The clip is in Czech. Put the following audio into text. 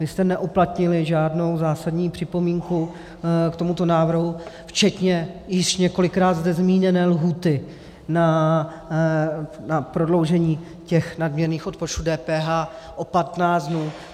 Vy jste neuplatnili žádnou zásadní připomínku k tomuto návrhu včetně již několikrát zde zmíněné lhůty na prodloužení těch nadměrných odpočtů DPH o 15 dnů.